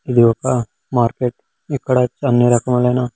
ఇది ఒక మార్కెట్ ఇక్కడ అన్నీ రకములు అయిన--